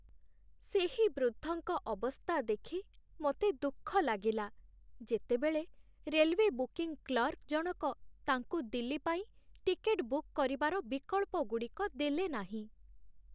ସେହି ବୃଦ୍ଧଙ୍କ ଅବସ୍ଥା ଦେଖି ମୋତେ ଦୁଃଖ ଲାଗିଲା ଯେତେବେଳେ ରେଲୱେ ବୁକିଂ କ୍ଲର୍କ ଜଣକ ତାଙ୍କୁ ଦିଲ୍ଲୀ ପାଇଁ ଟିକେଟ୍ ବୁକ୍ କରିବାର ବିକଳ୍ପଗୁଡ଼ିକ ଦେଲେନାହିଁ।